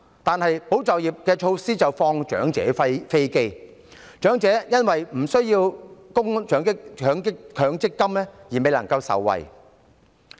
但是，保就業措施並無惠及長者，長者因為無須就強制性公積金供款而未能受惠。